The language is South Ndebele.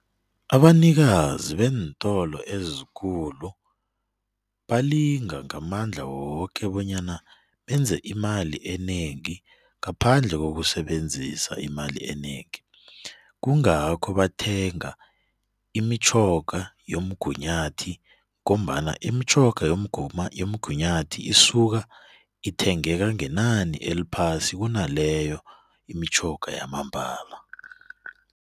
Abanikazi beentolo ezikulu balinga ngamandla woke bonyana benze imali enengi ngaphandle kokusebenzisa imali enengi, kungakho bathenga imitjhoga yomgunyathi ngombana imitjhoga yomgunyathi isuka ithengeka ngenani eliphasi kunaleyo imitjhoga yamambala.